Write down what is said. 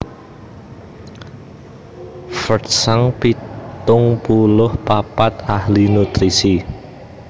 Fred Shank pitung puluh papat ahli nutrisi